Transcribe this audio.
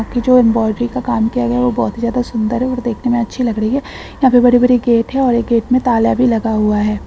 बाकी जो एम्बोरी का काम किया गया है वो बहुत ही ज्यादा सुन्दर है और देखने मे अच्छी लग रही है यहाँ पे बड़ी-बड़ी गेट है और एक गेट मे ताला भी लगा हुआ है।